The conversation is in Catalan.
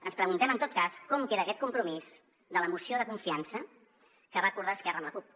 ens preguntem en tot cas com queda aquest compromís de la moció de confiança que va acordar esquerra amb la cup